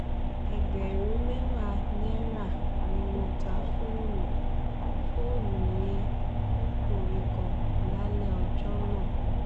ẹgbẹ̀rún mẹ́wàá náírà ni mo ta fóònù fóònù yẹn fókunrin kan lálẹ́ ọjọ́ náà